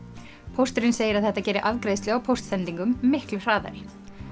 pósturinn segir að þetta geri afgreiðslu á póstsendingum miklu hraðari